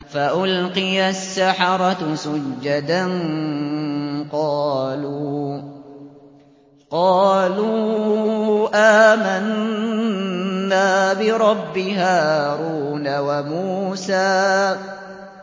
فَأُلْقِيَ السَّحَرَةُ سُجَّدًا قَالُوا آمَنَّا بِرَبِّ هَارُونَ وَمُوسَىٰ